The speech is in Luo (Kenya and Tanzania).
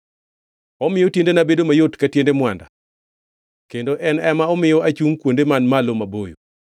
Omiyo tiendena bedo mayot ka tiende mwanda; kendo en ema omiyo achungʼ kuonde man malo maboyo.